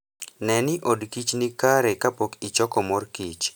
Ne ni odkich ni kare kapok ichoko mor kich.